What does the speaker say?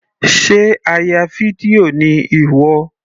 Sé a ya fídíò ni ìwọ.